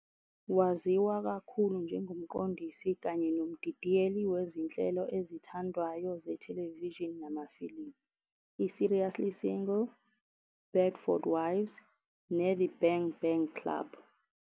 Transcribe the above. Waziwa kakhulu njengomqondisi kanye nomdidiyeli wezinhlelo ezithandwayo zethelevishini namafilimu "iSeriously Single", "Bedford Wives" "neThe Bang Bang Club."